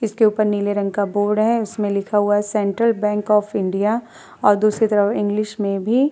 इसके ऊपर नीले रंग का बोर्ड है। उसमें लिखा हुआ है सेंट्रल बैंक ऑफ़ इंडिया और दूसरी तरफ इंग्लिश में भी --